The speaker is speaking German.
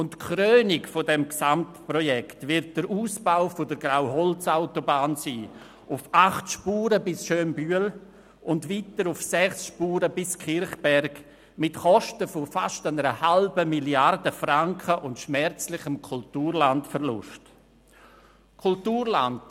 Die Krönung des Gesamtprojekts wird der Ausbau der Grauholzautobahn auf acht Spuren bis Schönbühl und weiter auf sechs Spuren bis Kirchberg mit Kosten von fast 0,5 Mrd. Franken und schmerzlichem Kulturlandverlust sein.